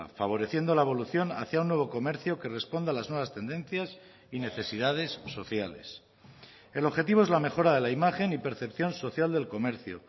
favoreciendo la evolución hacía un nuevo comercio que responda a las nuevas tendencias y necesidades sociales el objetivo es la mejora de la imagen y percepción social del comercio